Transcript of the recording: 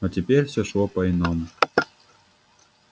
но теперь всё шло по иному